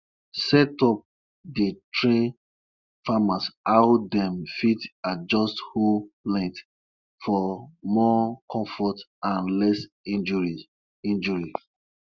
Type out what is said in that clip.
the elder midwife don warn woman wey get belle say them no suppose dey chop turkey meat - e dey bring stubborn pikin.